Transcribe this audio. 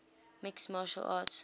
mixed martial arts